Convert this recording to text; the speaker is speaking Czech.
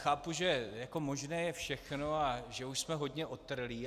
Chápu, že možné je všechno a že už jsme hodně otrlí.